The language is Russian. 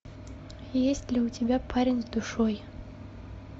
есть ли у тебя парень с душой